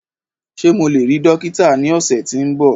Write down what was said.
Ṣe Mo le rii dokita ni ọsẹ ti n bọ?